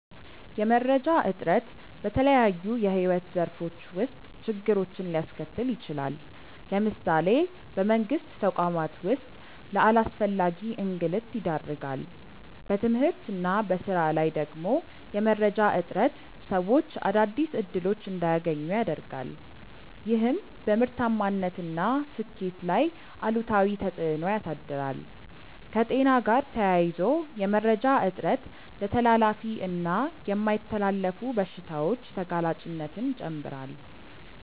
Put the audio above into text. የመረጃ እጥረት በተለያዩ የሕይወት ዘርፎች ውስጥ ችግሮችን ሊያስከትል ይችላል። ለምሳሌ በመንግስት ተቋማት ውስጥ ለአላስፈላጊ እንግልት ይዳርጋል። በትምህርት እና በሥራ ላይ ደግሞ የመረጃ እጥረት ሰዎች አዳዲስ እድሎች እንዳያገኙ ያረጋል፤ ይህም በምርታማነት እና ስኬት ላይ አሉታዊ ተፅእኖ ያሳድራል። ከጤና ጋር ተያይዞ የመረጃ እጥረት ለተላላፊ እና የማይተላለፉ በሽታዎች ተጋላጭነትን ይጨምራል።